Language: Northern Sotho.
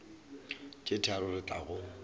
tše tharo re tla go